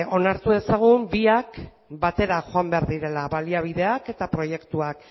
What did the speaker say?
onartu ezagun biak batera joan behar direla baliabideak eta proiektuak